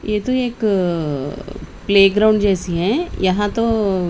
ये तो एक प्लेग्राउंड जैसी हैं यहां तो--